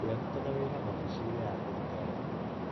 We arutaga wĩra ofici inĩ ya thirikari.